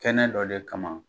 Kɛnɛ dɔ le kama